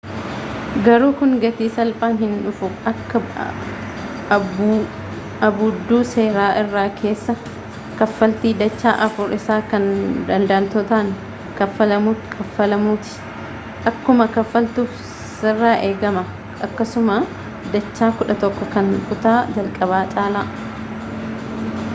garuu kun gatii salphaan hin dhufu akka abbuudduu seera irra keessaa kaffaltii dacha afur isaa kan daldaltootan kafaalamutti akka kafaaltuf sirraa eegamaa akkasuma dacha kudha tokko kan kutaa jalqaba caalaa